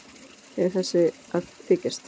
Er þessi að þykjast?